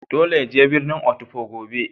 Dolle ya je birnin Otukpo gobe.